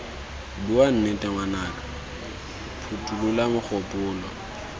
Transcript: bua nnete ngwanaka phothulola mogopolo